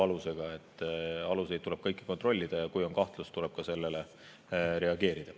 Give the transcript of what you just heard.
Kõiki aluseid tuleb kontrollida ja kui on kahtlus, tuleb sellele reageerida.